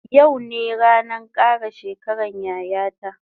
Yau ne ranan kara shekaran yaya ta